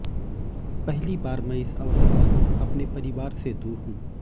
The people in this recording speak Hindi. पहली बार मैं इस अवसर पर अपने परिवार से दूर हूं